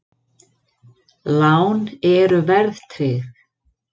Lán eru verðtryggð!